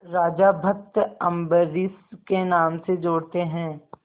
राजा भक्त अम्बरीश के नाम से जोड़ते हैं